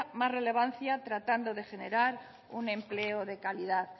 más relevancia tratando de generar un empleo de calidad